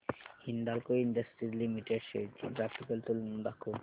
Hindalco industries limited shares ची graphical तुलना दाखव